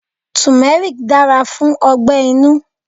Turmeric dára fún ọgbẹ-inú.